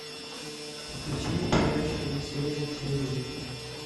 включи мне передачу киносерия на телевизоре